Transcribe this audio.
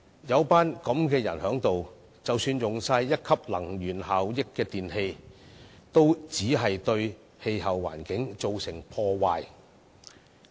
有這些議員在此，即使採用貼上1級能源標籤的電器，也會對氣候環境造成破壞。